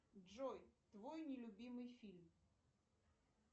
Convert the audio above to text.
джой твой нелюбимый фильм